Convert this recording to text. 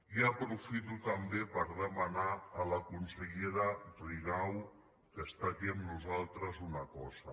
i aprofito també per demanar a la consellera rigau que està aquí amb nosaltres una cosa